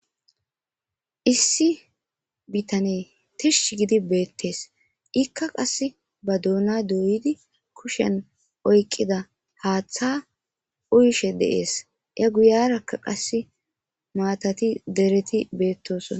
Issi bithanee thishshi gidi beeththes;ikka qassi ba doonaa dooyidi kushiyan oyqqida haaththaa uyishe de7ees;a guuyaarakka qassi maathathi derethi beeththoosona.